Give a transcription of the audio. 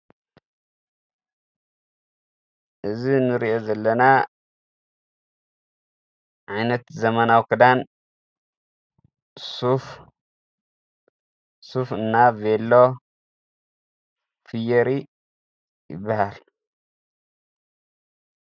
እዝ ንርአ ዘለና ዓይነት ዘመናዊ ክዳን ሱፍ እና ቤሎ ፊየሪ ይበሃል